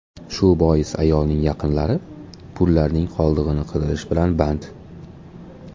Shu bois ayolning yaqinlari pullarning qoldig‘ini qidirish bilan band.